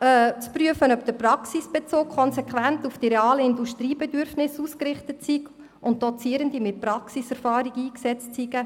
sei zu prüfen, ob der Praxisbezug konsequent auf die realen Bedürfnisse der Industrie ausgerichtet sei und Dozierende mit Praxiserfahrung eingesetzt würden.